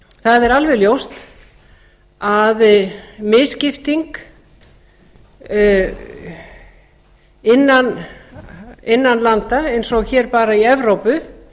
það er alveg ljóst að misskipting innan landa eins og hér bara í evrópu